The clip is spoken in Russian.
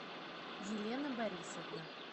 елена борисовна